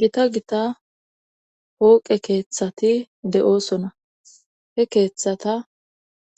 gita gita hooqe keeththati de7oosona he keeththata